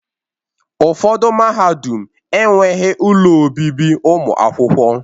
Ụfọdụ mahadum enweghị ụlọ obibi ụmụ akwụkwọ.